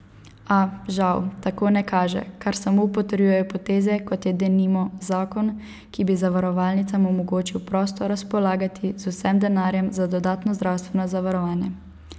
A, žal, tako ne kaže, kar samo potrjujejo poteze, kot je, denimo, zakon, ki bi zavarovalnicam omogočil prosto razpolagati z vsem denarjem za dodatno zdravstveno zavarovanje.